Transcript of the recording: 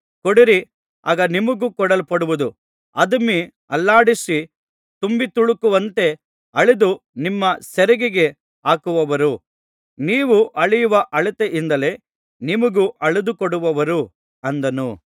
ಕೊಡಿರಿ ಆಗ ನಿಮಗೂ ಕೊಡಲ್ಪಡುವುದು ಅದುಮಿ ಅಲ್ಲಾಡಿಸಿ ತುಂಬಿತುಳುಕುವಂತೆ ಅಳೆದು ನಿಮ್ಮ ಸೆರಿಗಿಗೆ ಹಾಕುವರು ನೀವು ಅಳೆಯುವ ಅಳತೆಯಿಂದಲೇ ನಿಮಗೂ ಅಳೆದುಕೊಡುವರು ಅಂದನು